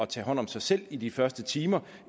tage hånd om sig selv i de første timer